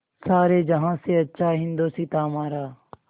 सारे जहाँ से अच्छा हिन्दोसिताँ हमारा